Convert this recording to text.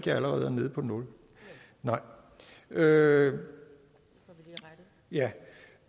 jeg allerede er nede på nul ja ja